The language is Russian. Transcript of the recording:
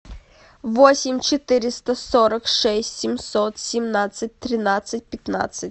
восемь четыреста сорок шесть семьсот семнадцать тринадцать пятнадцать